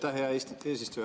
Aitäh, hea eesistuja!